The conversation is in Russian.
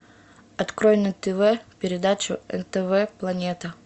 открой на тв передачу нтв планета